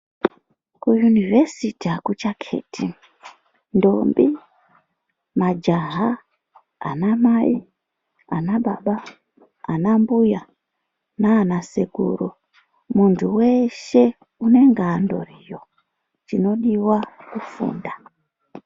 Kuyunivhesisiti akuchakheti ndombi majaha ana Mai ana baba ana mbuya nanasekuru munthu weshe unenge andoriyo chinodiwa kufunda.